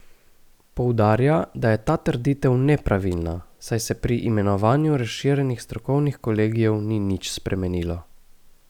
Poudarja, da je ta trditev nepravilna, saj se pri imenovanju razširjenih strokovnih kolegijev ni nič spremenilo.